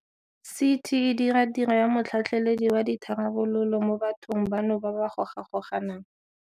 CT e dira tiro ya motlhatlheledi wa ditharabololo mo bathong bano ba ba gogagonang.